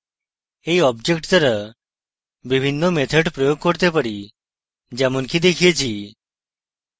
এই object দ্বারা বিভিন্ন methods প্রয়োগ করতে পারি যেমনকি দেখিয়েছি